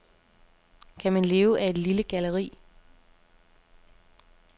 Kan man leve af et lille galleri?